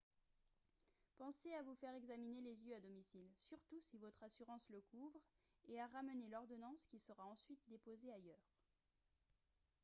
pensez à vous faire examiner les yeux à domicile surtout si votre assurance le couvre et à ramener l'ordonnance qui sera ensuite déposée ailleurs